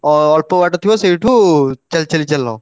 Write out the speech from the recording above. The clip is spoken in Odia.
ଅ~ ଅଳ୍ପ ବାଟ ଥିବ ସେଇଠୁ ଚାଲି ଚାଲି ଚାଲ।